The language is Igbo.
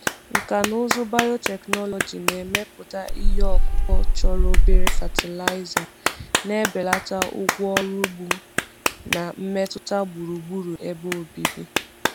Nkà na ụzụ biotechnology na-emepụta ihe ọkụkụ chọrọ obere fatịlaịza, na-ebelata ụgwọ ọrụ ugbo na mmetụta gburugburu ebe obibi.